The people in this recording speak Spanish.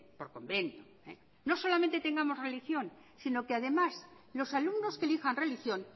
por convenio no solamente tengamos religión sino que además los alumnos que elijan religión